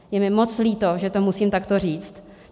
Je mi moc líto, že to musím takto říct.